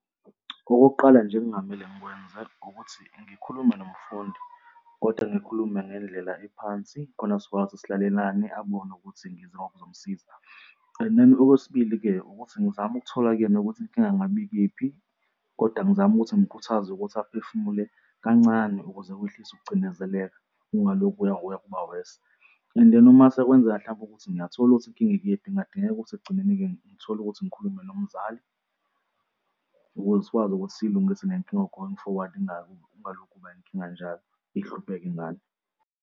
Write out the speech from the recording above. Okokuqala nje ekungamele ngikwenze ukuthi ngikhulume nomfundi kodwa ngikhulume ngendlela ephansi khona sizokwazi ukuthi silalelane ubone ukuthi ngizomsiza. And then okwesibili-ke ukuthi ngizame ukuthola kuyena ukuthi inkinga ingabe ikephi kodwa ngizame ukuthi ngimukhuthaze ukuthi aphefumule kancane ukuze wehlise ukucindezeleka, ungalokhu kuya ngokuya kuba-worse. And then uma sekwenzeka hlampe ukuthi ngiyathola ukuthi inkinga ekephi kungadingeka ukuthi ekugcineni-ke ngithole ukuthi ngikhulume nomzali ukuze sikwazi ukuthi siyilungise le nkinga going forward ingaloku kuba yinkinga njalo ihlupheke ingane.